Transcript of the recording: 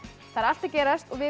það er allt að gerast og við